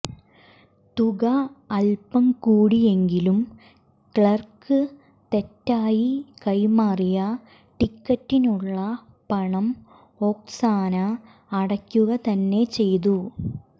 തുക അൽപ്പം കൂടിയെങ്കിലും ക്ലാർക്ക് തെറ്റായി കൈമാറിയ ടിക്കറ്റിനുള്ള പണം ഒക്സാന അടയ്ക്കുക തന്നെ ചെയ്തു